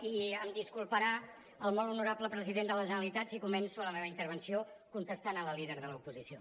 i em disculparà el molt honorable president de la generalitat si començo la meva intervenció contestant a la líder de l’oposició